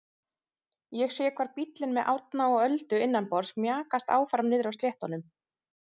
Ég sé hvar bíllinn með Árna og Öldu innanborðs mjakast áfram niðri á sléttunum.